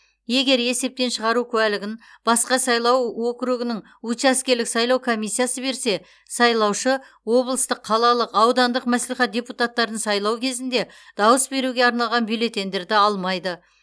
егер есептен шығару куәлігін басқа сайлау округінің учаскелік сайлау комиссиясы берсе сайлаушы облыстық қалалық аудандық мәслихат депутаттарын сайлау кезінде дауыс беруге арналған бюллетеньдерді алмайды